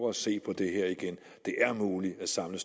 at se på det her igen det er muligt at samle